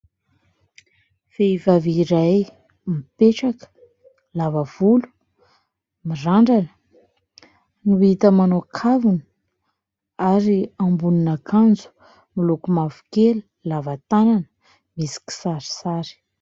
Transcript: Vehivavy iray mipetraka, lava volo, mirandrana no hita ; manao kavina ary ambonina akanjo miloko mavokely, lavatanana, misy kisarisary.